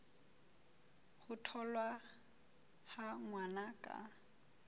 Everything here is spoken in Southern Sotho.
ho tholwa ha ngwana ka